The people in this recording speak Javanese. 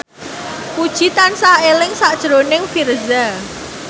Puji tansah eling sakjroning Virzha